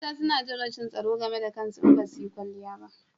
Mata suna jin rashin tsaro game da kansu in basu yi kwanliya ba